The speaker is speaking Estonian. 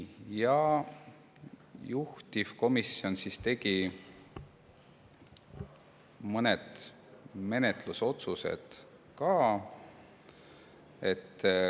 Juhtivkomisjon tegi menetlusotsused ka.